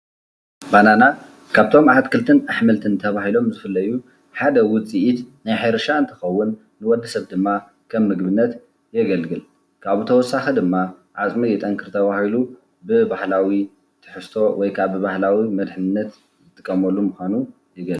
ባናና ካብቶም ኣትክልትን ኣሕምልትም ተባሂሎም ዝፍለዩ ሓደ ውፅኢት ናይ ሕርሻ እንትኸውን ንወድ ሰብ ድማ ከም ምግብነት የገልግል፡፡ ካብኡ ብተወሳኺ ድማ ዓፅሚ የጠንክር ተባሂሉ ብባህላዊ ትሕዝቶ ወይ ብባህለዊ መድሕንነት ንጥቀመሉ ምዃኑ ይገልፅ፡፡